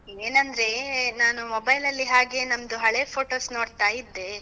ಏನಂದ್ರೇ. ನಾನು mobile ಅಲ್ಲಿ ಹಾಗೇ ನಮ್ದು ಹಳೆ photos ನೋಡ್ತಾ ಇದ್ದೆ.